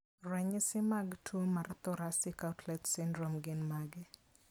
Ranyisi mag tuwo mar thoracic outlet syndrome gin mage?